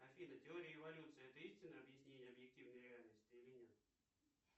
афина теория эволюции это истинное объяснение объективной реальности или нет